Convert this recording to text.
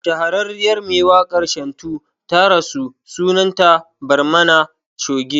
Shahararriyar mai wakar Shantu ta rasu sunan ta Barmani Choge